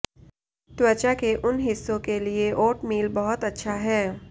त्वचा के उन हिस्सों के लिए ओट मील बहुत अच्छा है